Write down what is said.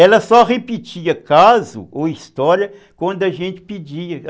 Ela só repetia caso ou história quando a gente pedia.